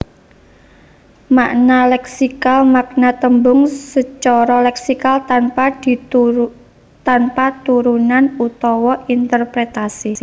Makna leksikal makna tembung sacara leksikal tanpa turunan utawa interpretasi